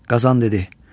Qazan dedi: